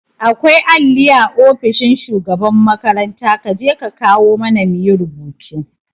Akwai alli a ofishin shugaban makaranta kaje ka kawo mana muyi rubutu